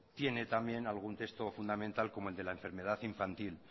tiene también algún texto fundamental como el de la enfermedad infantil